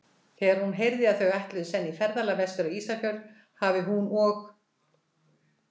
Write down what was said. Þegar hún heyrði, að þau ætluðu senn í ferðalag vestur á Ísafjörð, hafi hún og